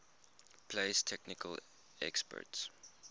place technical experts